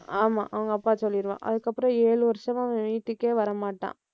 ஆமா. அவங்க அப்பா சொல்லிடுவான். அதுக்கப்புறம் ஏழு வருஷமா அவன் வீட்டுக்கே வரமாட்டான்.